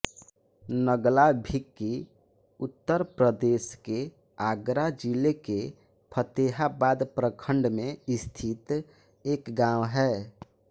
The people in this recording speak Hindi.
नगला भिक्की उत्तर प्रदेश के आगरा जिले के फ़तेहाबाद प्रखंड में स्थित एक गाँव है